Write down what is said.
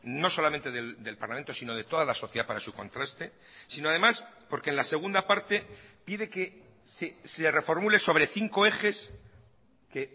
no solamente del parlamento sino de toda la sociedad para su contraste sino además porque en la segunda parte pide que se reformule sobre cinco ejes que